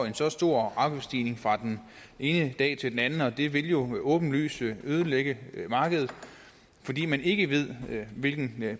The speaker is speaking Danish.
en så stor afgiftsstigning fra den ene dag til den anden og det vil jo åbenlyst ødelægge markedet fordi man ikke ved hvilken